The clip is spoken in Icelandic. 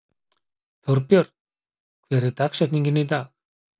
Þórbjörn, hver er dagsetningin í dag?